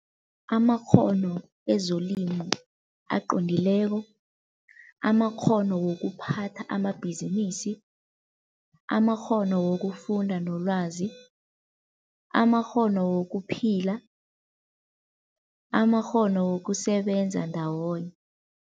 Amakghono ezolimo aqondileko, amakghono wokuphatha amabhizinisi, amakghono wokufunda nolwazi, amakghono wokuphila, amakghono wokusebenza ndawonye.